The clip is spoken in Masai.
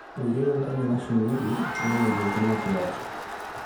meyieu enkaji nashumieki neinoki enkima tiatua